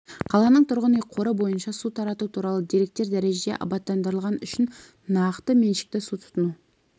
қаланың тұрғын үй қоры бойынша су тарату туралы деректер дәрежеде абаттандырылған үшін нақты меншікті су тұтыну